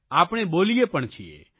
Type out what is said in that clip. આપણે બોલીએ પણ છીએ